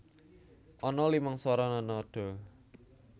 Ana limang swara nada